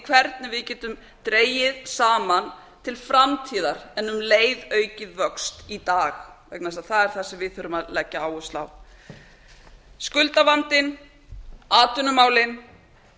hvernig við getum dregið saman til framtíðar en um leið aukið vöxt í dag vegna þess að það er það sem við þurfum að leggja áherslu á skuldavandinn atvinnumálin